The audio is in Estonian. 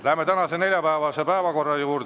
Läheme tänase, neljapäevase päevakorra juurde.